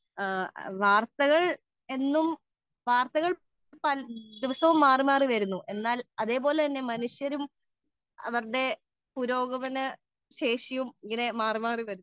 speaker 2 വാർത്തകൾ ദിവസവും മാറി മാറി വരുന്നു എന്നാൽ മനുഷ്യരും അവരുടെ പുരോഗമന ശേഷിയും ഇങ്ങനെ മാറി മാറി വരുന്നു